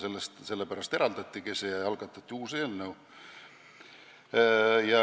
Sellepärast see osa eraldati ja algatati uus eelnõu.